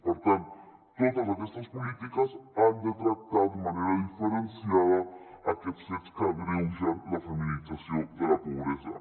per tant totes aquestes polítiques han de tractar de manera diferenciada aquests fets que agreugen la feminització de la pobresa